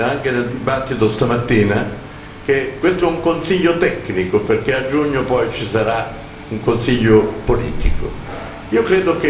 Ho sentito dire anche nel dibattito stamattina che questo è un Consiglio tecnico perché a giugno poi ci sarà un Consiglio politico.